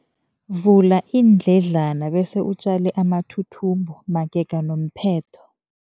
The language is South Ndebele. Vula iindledlana bese utjale amathuthumbo magega nomphetho.